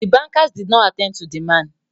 The bankers did not attend to the man